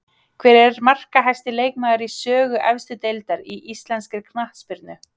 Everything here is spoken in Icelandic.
Hver er markahæsti leikmaður í sögu efstu deildar í íslenskri knattspyrnu?